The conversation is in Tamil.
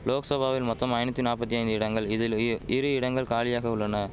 லோக்சபாவில் மொத்தம் ஐநூத்தி நாப்பத்தி ஐந்து இடங்கள் இதில் வியு இரு இடங்கள் காலியாக உள்ளன